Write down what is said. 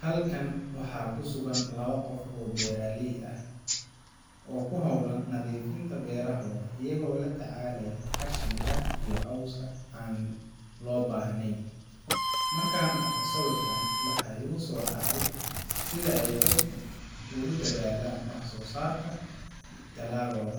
Halkan waxaa ku sugan laba qof oo beeraley ah oo ku hawlan nadiifinta beerahooda, iyagoo la tacaalaya qashinka iyo cawska aan loo baahnayn. Markaan arko sawirkan, waxaa igu soo dhacaya sida ay dadku ugu dadaalaan wax soo saarka dalagooda,